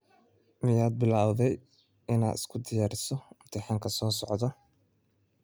Miyaad bilowday inaad isu diyariso imtixaanka soo socda?